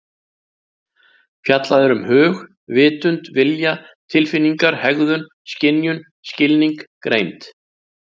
Fjallað er um hug, vitund, vilja, tilfinningar, hegðun, skynjun, skilning, greind.